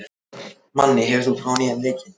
Manni, hefur þú prófað nýja leikinn?